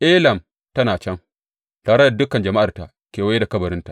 Elam tana can, tare da dukan jama’arta kewaye da kabarinta.